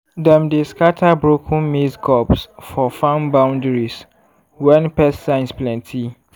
dem dey scatter broken maize cobs for farm boundaries when pest signs plenty.